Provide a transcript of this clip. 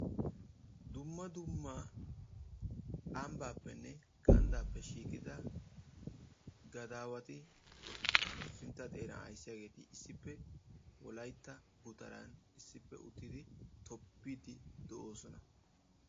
dumma dumma ambbaappenne ganddaappe shiiqida gadaawati sintta xeeraan ayssiyaageti issippe wollaytta gutaraan issippe uttidi tobbiiddi de"oosona.